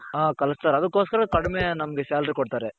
ಆ ಕಲುಸ್ತಾರೆ ಅದುಕ್ಕೋಸ್ಕರ ಕಡಿಮೆ ನಮ್ಗೆ salary ಕೊಡ್ತಾರೆ.